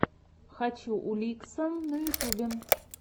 хочу уликса на ютюбе